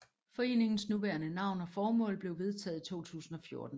Foreningens nuværende navn og formål blev vedtaget i 2014